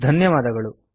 ಧನ್ಯವಾದಗಳು